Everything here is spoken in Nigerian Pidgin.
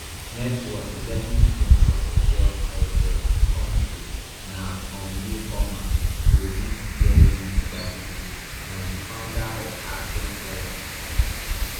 net worth eleven billion source of wealth healthcare countries na um newcomer to dis year list tabuteau na di founder of axsome therapeutics